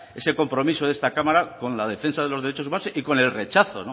ese compromiso de esta cámara con la defensa de los derechos humanos y con el rechazo